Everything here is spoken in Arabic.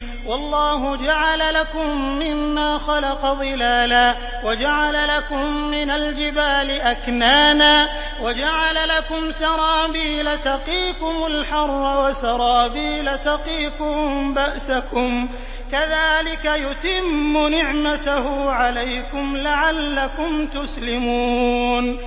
وَاللَّهُ جَعَلَ لَكُم مِّمَّا خَلَقَ ظِلَالًا وَجَعَلَ لَكُم مِّنَ الْجِبَالِ أَكْنَانًا وَجَعَلَ لَكُمْ سَرَابِيلَ تَقِيكُمُ الْحَرَّ وَسَرَابِيلَ تَقِيكُم بَأْسَكُمْ ۚ كَذَٰلِكَ يُتِمُّ نِعْمَتَهُ عَلَيْكُمْ لَعَلَّكُمْ تُسْلِمُونَ